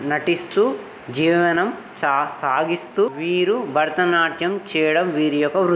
నటిస్తూ జీవనం సా-సాగిస్తూ వీరు భరతనాట్యం చేయడం. వీరి యొక్క వృ --